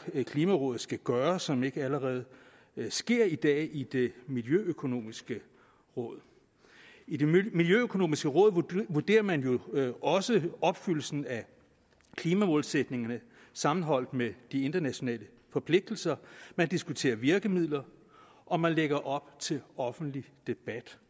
klimarådet skal gøre som ikke allerede sker i dag i det miljøøkonomiske råd i det miljøøkonomiske råd vurderer man jo også opfyldelsen af klimamålsætningerne sammenholdt med de internationale forpligtelser man diskuterer virkemidler og man lægger op til en offentlig debat